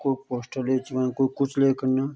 कु पोस्टर ले च वान कुइ कुछ लेक अन्यां।